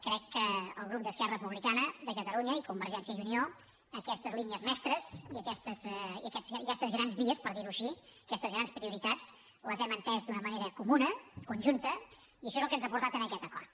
crec que el grup d’esquerra republicana de catalunya i convergència i unió aquestes línies mestres i aquestes grans vies per dir ho així aquestes grans prioritats les hem entès d’una manera comuna conjunta i això és el que ens ha portat a aquest acord